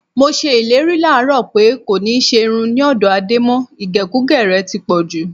Mo s̩e ìlérí láàárò̩ pé kò ní s̩e irun ní ò̩dó̩ Adé mo̩. Ìgè̩kugè̩ rè̩ ti pọ̩̀ jù.